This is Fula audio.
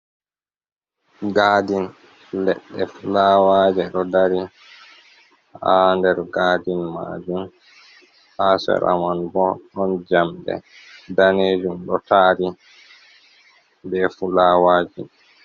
Gaadin, leɗɗe fulaawaje ɗo dari haa nder Gaadin maajum, haa seera mum boo ɗon jamɗe daneejum ɗo taari bee fulaawaaji.